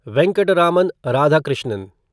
Venkataraman Radhakrishnan